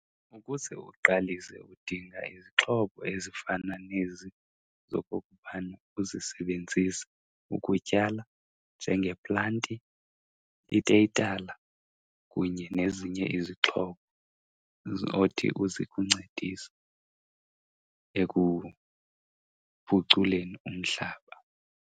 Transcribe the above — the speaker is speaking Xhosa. Ukuze uqalise udinga izixhobo ezifana nezi zokokubana uzisebenzise ukutyala njengeplanti, iteyitala kunye nezinye izixhobo ozothi zikuncedise ekuphuculeni umhlaba.